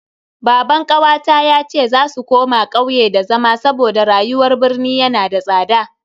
Baban kawata yace za su koma kauye da zama saboda rayuwar birni yana da tsada.